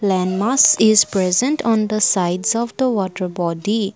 landmass is present on the sides of the water body.